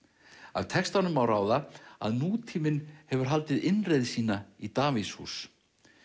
af textanum má ráða að nútíminn hefur haldið innreið sína í Davíðshús